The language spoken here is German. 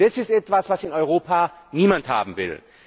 Das ist etwas, was in Europa niemand haben will.